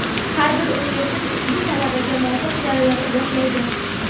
Har bir universitet ushbu talabga muvofiq jarayonni boshlaydi.